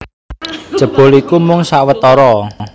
Jebul iku mung sawetara